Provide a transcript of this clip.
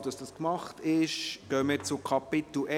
Sobald dies geschehen ist, gehen wir zu Kapitel